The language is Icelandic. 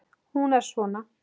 Hún er svona